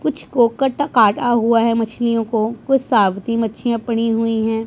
कुछ कोकट कटा हुआ है मछलियों को कुछ साबूती मच्छीया पड़ी हुई है।